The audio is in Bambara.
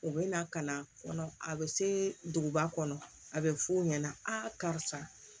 U bɛ na ka na kɔnɔ a bɛ se duguba kɔnɔ a bɛ f'u ɲɛna a karisa